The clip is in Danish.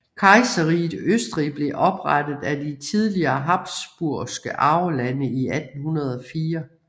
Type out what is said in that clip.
Kejserriget Østrig blev oprettet af de tidligere habsburgske arvelande i 1804